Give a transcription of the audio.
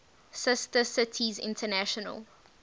sister cities international